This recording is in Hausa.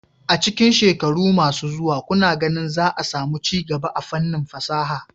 A cikin shekaru masu zuwa, kuna ganin za a samu ci gaba a fannin fasaha?